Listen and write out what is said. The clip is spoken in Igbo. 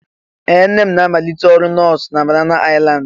Ee! Nne m na-amalite ọrụ nọọsụ na Banana Island?